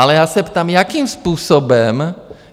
Ale já se ptám, jakým způsobem?